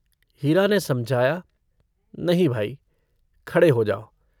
हीरा ने समझाया - नहीं भाई खड़े हो जाओ।